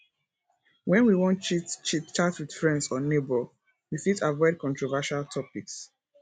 when we wan chit chit chat with friends or neighbour we fit avoid controversial topics